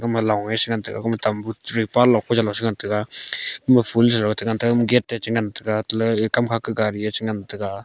ma long resh ngan tega tambut chu ngan tega um gate techu ngan tega kam ga ma gari e chi ngan tega.